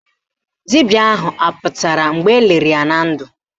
Dibịa ahụ apụtara mgbe eliri ya na ndụ?